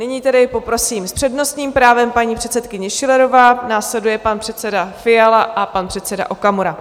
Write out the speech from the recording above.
Nyní tedy poprosím, s přednostním právem paní předsedkyně Schillerová, následuje pan předseda Fiala a pan předseda Okamura.